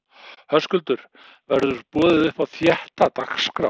Höskuldur: Verður boðið upp á þétta dagskrá?